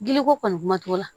Giliko kɔni kuma t'o la